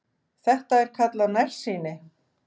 Þetta er kallað nærsýni.